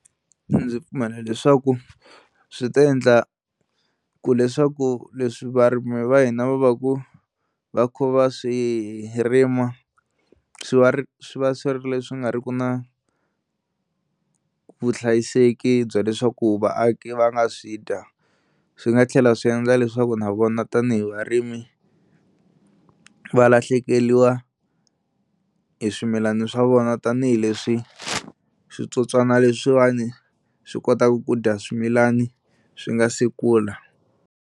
Ndzi pfumela leswaku swi ta endla ku leswaku leswi varimi va hina va va ku va kha va swi rima swi va ri swi va swi ri leswi nga ri ku na vuhlayiseki bya leswaku vaaki va nga swi dya. Swi nga tlhela swi endla leswaku na vona tanihi varimi va lahlekeriwa hi swimilani swa vona tanihileswi switsotswana leswiwani swi kotaka ku dya swimilana swi nga si kula.